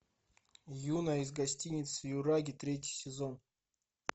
юна из гостиницы юраги третий сезон